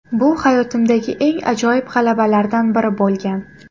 Bu hayotimdagi eng ajoyib g‘alabalardan biri bo‘lgan.